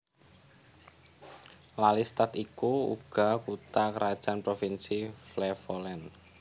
Lelystad iku uga kutha krajan provinsi Flevoland